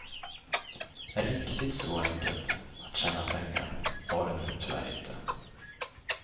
Riktigt så enkelt att tjäna pengar var det nu tyvärr inte.